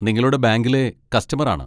നിങ്ങളുടെ ബാങ്കിലെ കസ്റ്റമർ ആണ്.